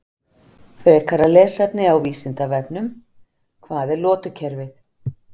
Frekara lesefni á Vísindavefnum: Hvað er lotukerfið?